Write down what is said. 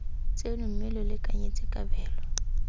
tseno mme lo lekanyetse kabelo